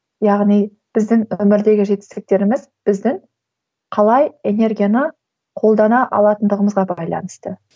яғни біздің өмірдегі жетістіктеріміз біздің қалай энергияны қолдана алатындығымызға байланысты